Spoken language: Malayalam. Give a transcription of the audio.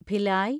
ഭിലായി